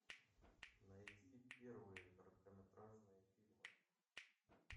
найти первые короткометражные фильмы